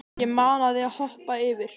Ég mana þig að hoppa yfir.